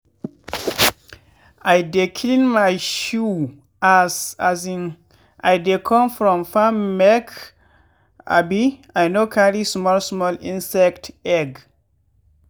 i dey clean my shoe as um i dey come from farm make um i no carry small small insect egg.